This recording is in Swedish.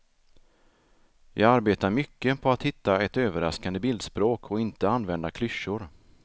Jag arbetar mycket på att hitta ett överraskande bildspråk och inte använda klyschor.